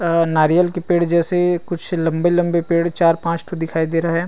अ नारियाल के पेड़ जैसे कुछ लम्बे-लम्बे पेड़ चार पांच ठो दिखाई दे रहे है।